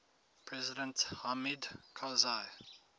president hamid karzai